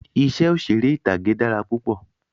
Iṣẹ́ òṣèré ìtàgé dára púpọ̀